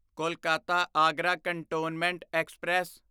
Kolkata Agra cantonment express